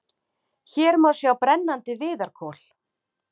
Hér má sjá brennandi viðarkol.